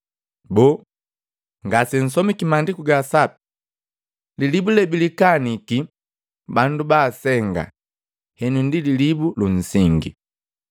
Boo, ngasensomiki Maandiku ga Sapi? ‘Lilibu lebilikaniki bandu baasenga, henu ndi lilibu lunsingi.